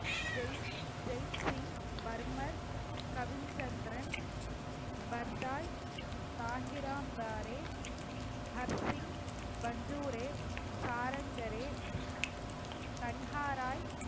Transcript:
ஜெய்சிங் பர்மர் கவின் சந்திரன் பர்தாய் தாஹிராம் பாரே ஹர்ஷிங் பஞ்சூரே சாரங்கரே கண்ஹாராய்